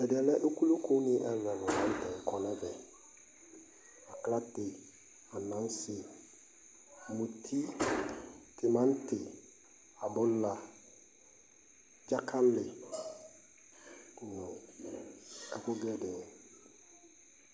ɛdiɛlɛ ukulụ kõni ɛluɛlu laŋtɛ kõnɛvɛ Aklaté anasé muti timanti abụla djakali nũ ɛku gɛdɛɛ